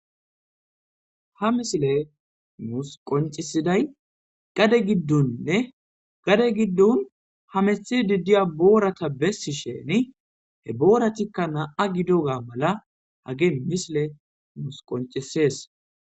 ha misile muus qoncisiday gade giddunnne gade giddun ha mehi diddiya boorata bessi sheni he booratikka na7a gido gaa mala hage misile nuus qoncisees